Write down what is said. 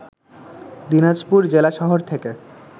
দিনাজপুর জেলা শহর থেকে